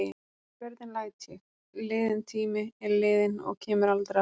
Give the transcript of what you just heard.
Hvernig læt ég: liðinn tími er liðinn og kemur aldrei aftur.